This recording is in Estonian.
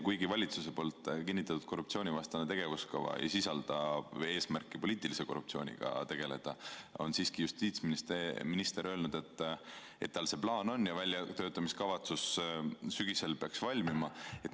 Kuigi valitsuse kinnitatud korruptsioonivastane tegevuskava ei sisalda eesmärgina poliitilise korruptsiooniga tegelemist, on justiitsminister siiski öelnud, et tal see plaan on ja väljatöötamiskavatsus peaks sügisel valmima.